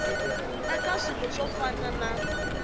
eka swilo swo fana na